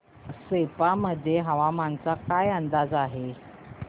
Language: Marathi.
सेप्पा मध्ये हवामानाचा काय अंदाज आहे